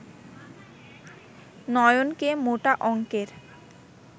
নয়নকে মোটা অঙ্কের